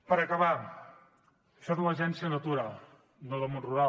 per acabar això és l’agència de la natura no del món rural